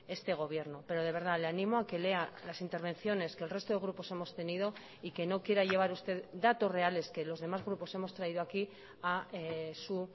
este gobierno pero de verdad le ánimo a que lea las intervenciones que el resto de grupos hemos tenido y que no quiera llevar usted datos reales que los demás grupos hemos traído aquí a su